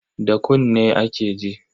Da kunne ake ji.